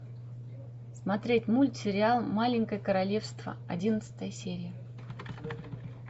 смотреть мультсериал маленькое королевство одиннадцатая серия